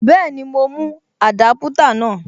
Bẹ́ẹ̀ni, mo mú Adaputa náà.